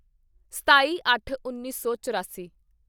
ਸਤਾਈਅੱਠਉੱਨੀ ਸੌ ਚੁਰਾਸੀ